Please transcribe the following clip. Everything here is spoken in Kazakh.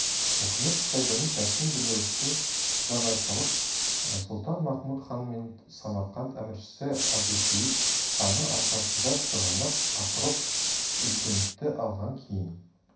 мұхамед-шайбани ташкент билеушісі жағатайлық сұлтан-махмуд хан мен самарқант әміршісі әбусейіт ханның арқасында сығанақ ақрұқ үзгентті алғаннан кейін